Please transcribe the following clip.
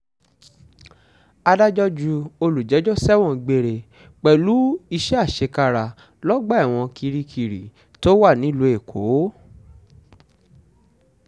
adájọ́ ju olùjẹ́jọ́ sẹ́wọ̀n gbére pẹ̀lú iṣẹ́ àṣekára lọ́gbà ẹ̀wọ̀n kirikiri tó wà nílùú èkó